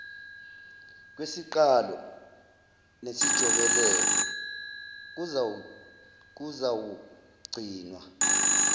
kwesiqalo nesijobelelo kuzawugcinwa